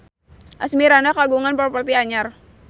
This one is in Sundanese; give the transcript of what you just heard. Asmirandah kagungan properti anyar